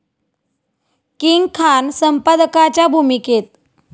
king Khan संपादकाच्या भूमिकेत